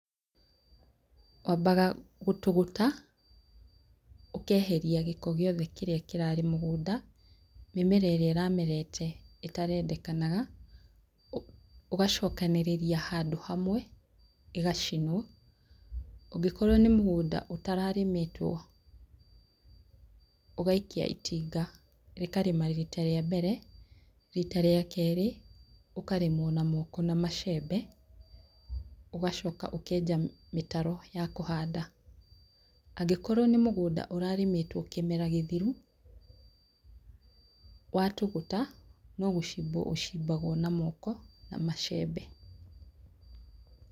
Wambaga gũtũgũta ũkeheria gĩko gĩothe kĩrĩa kĩrarĩ mũgũnda, mĩmera ĩrĩa ĩramerete ĩtarendekanaga, ugacokanĩrĩria handũ hamwe ĩgacinwo. Angĩkorwo nĩ mũgũnda ũtararĩmĩtwo ,ũgaikia itinga rĩkarĩma rita rĩa mbere. Rita rĩa kerĩ ũkarĩmwo na moko na macembe, ugacoka ũkenja mĩtaro ya kũhanda. Angĩkorwo nĩ mũgũnda ũrarĩmĩtwo kĩmera gĩthiru, watũgũta no gũcimbwo ũcibagwo na moko na macembe.